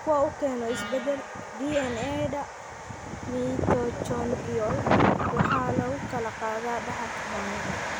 Kuwa uu keeno isbeddellada DNA-da mitochondrial waxaa lagu kala qaadaa dhaxalka hooyada.